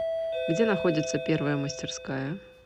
где находится первая мастерская